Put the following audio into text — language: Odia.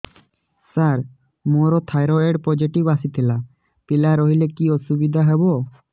ସାର ମୋର ଥାଇରଏଡ଼ ପୋଜିଟିଭ ଆସିଥିଲା ପିଲା ରହିଲେ କି ଅସୁବିଧା ହେବ